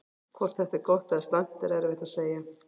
Hvort þetta er gott eða slæmt er erfitt að segja.